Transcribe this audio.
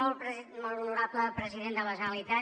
molt honorable president de la generalitat